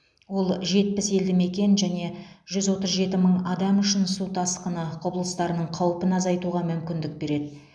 ол жетпіс елді мекен және жүз отыз жеті мың адам үшін су тасқыны құбылыстарының қаупін азайтуға мүмкіндік береді